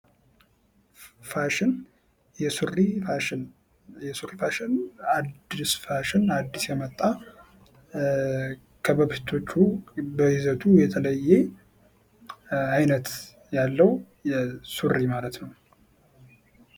ፋሽን የሱሪ ፋሽን። የሱሪ ፋሽን አዲስ ፋሽን አዲስ የመጣ ከበፊቶቹ በይዘቱ የተለየ አይነት ያለው ሱሪ ማለት ነው።